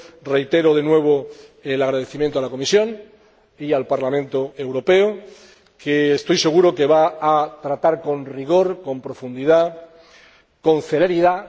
Reitero de nuevo el agradecimiento a la Comisión y al Parlamento Europeo, que, estoy seguro, va a tratar con rigor, con profundidad, con celeridad...